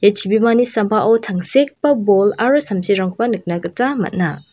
ia chibimani sambao tangsekgipa bol aro samsirangkoba nikna gita man·a.